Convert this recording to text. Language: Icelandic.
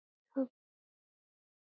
Haukur: Og hvers vegna ekki?